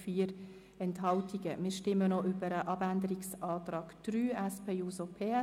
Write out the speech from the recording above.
Wir stimmen noch über den Abänderungsantrag der SPJUSO-PSA ab.